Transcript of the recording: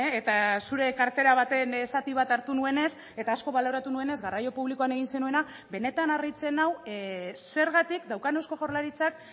eta zure kartera baten zati bat hartu nuenez eta asko baloratu nuenez garraio publikoan egin zenuena benetan harritzen nau zergatik daukan eusko jaurlaritzak